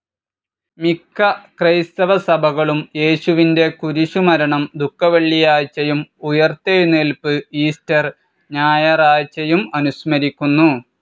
മിക്ക ക്രൈസ്തവ സഭകളും യേശുവിന്റെ കുരിശുമരണം ദുഃഖവെള്ളിയാഴ്ചയും ഉയിർത്തെഴുന്നേല്പ്പ് ഈസ്റ്റർ ഞായറാഴ്ചയും അനുസ്മരിക്കുന്നു.